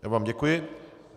Já vám děkuji.